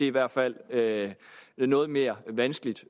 i hvert fald noget mere vanskeligt